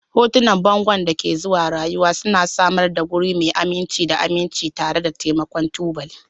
Hotunan bangon da ke zuwa rayuwa suna samar da wuri mai aminci da aminci tare da taimakon tubali